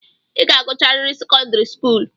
I ga-agụcharịrị sekọndịrị skuulu!